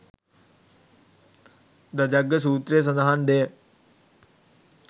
ධජග්ග සූත්‍රයේ සඳහන් දෙය